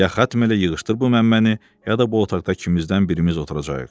Ya xətm elə yığışdır bu məmməni, ya da bu otaqda kimizdən birimiz oturacağıq.